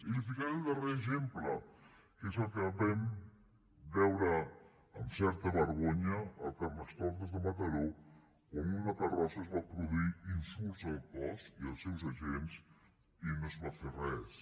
i li’n ficaré el darrer exemple que és el que vam veure amb certa vergonya al carnestoltes de mataró on en una carrossa es van produir insults al cos i als seus agents i no es va fer res